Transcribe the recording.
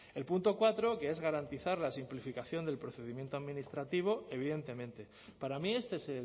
el punto cuatro que es garantizar la simplificación del procedimiento administrativo evidentemente para mí este es